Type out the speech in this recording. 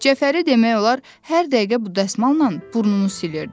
Cəfəri demək olar hər dəqiqə bu dəsmalına burnunu silirdi.